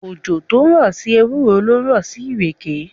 Òjò tó rọ̀ sí ewúro ló rọ̀ sí ìrèké.